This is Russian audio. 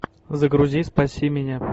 загрузи спаси меня